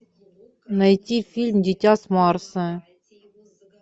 найти фильм дитя с марса